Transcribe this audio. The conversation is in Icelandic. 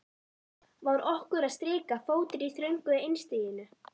Var okkur að skrika fótur í þröngu einstiginu?